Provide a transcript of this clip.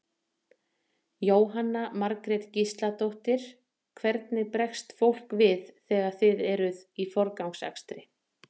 Jóhanna Margrét Gísladóttir: Hvernig bregst fólk við þegar þið eruð í forgangsakstri?